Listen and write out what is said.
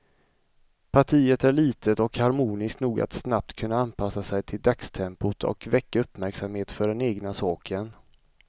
Partiet är litet och harmoniskt nog att snabbt kunna anpassa sig till dagstempot och väcka uppmärksamhet för den egna saken.